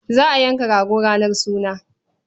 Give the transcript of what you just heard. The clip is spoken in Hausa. Za a yanka rago ranar suna.